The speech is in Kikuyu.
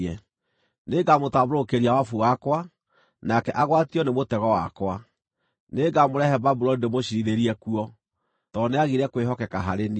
Nĩngamũtambũrũkĩria wabu wakwa, nake agwatio nĩ mũtego wakwa. Nĩngamũrehe Babuloni ndĩmũciirithĩrie kuo, tondũ nĩagire kwĩhokeka harĩ niĩ.